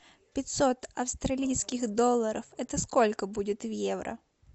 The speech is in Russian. пятьсот австралийских долларов это сколько будет в евро